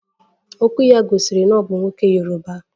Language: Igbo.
Okwu ya gosiri na o bu nwoke yoruba